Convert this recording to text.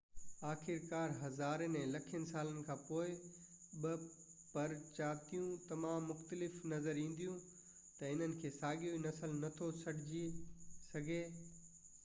آخرڪار هزارين يا لکين سالن کان پوءِ ٻه پرجاتيون تمام مختلف نظر اينديون ته انهن کي ساڳيو نسل نٿو سڏجي سگهي